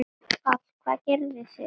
Páll: Hvað gerið þið?